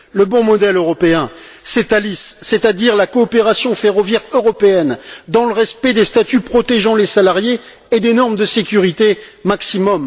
Le bon modèle européen, c'est Thalys, c'est à dire la coopération ferroviaire européenne dans le respect des statuts protégeant les salariés et des normes de sécurité maximum.